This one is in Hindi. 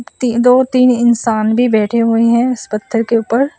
दो तीन इंसान भी बैठे हुए हैं इस पत्थर के ऊपर।